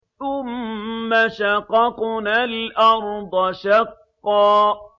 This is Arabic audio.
ثُمَّ شَقَقْنَا الْأَرْضَ شَقًّا